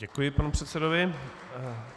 Děkuji panu předsedovi.